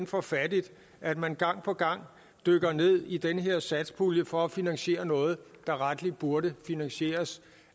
for fattigt at man gang på gang dykker ned i den her satspulje for at finansiere noget der rettelig burde finansieres